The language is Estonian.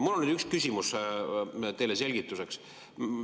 Mul on üks küsimus teile selgituseks.